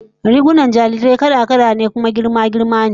Rigunan jarirai kala-kala ne kuma girma girma ne